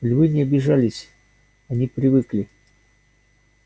львы не обижались они привыкли